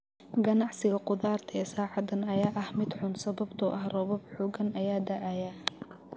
Ganacsiga qudarta ee saacadan ayaa ah mid xun sababtoo ah roobabka xooggan ee da'aya.